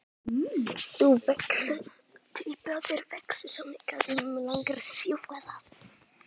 þú vex.